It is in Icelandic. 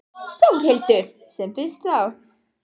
Þórhildur: Sem fyrst þá?